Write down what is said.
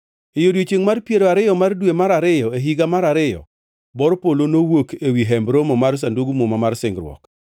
E odiechiengʼ mar piero ariyo mar dwe mar ariyo e higa mar ariyo, bor polo nowuok ewi Hemb Romo mar Sandug Muma mar Singruok.